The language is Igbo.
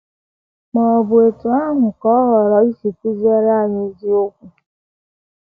Ma, ọ bụ etu ahụ ka ọ họọrọ isi kụziere anyị eziokwu?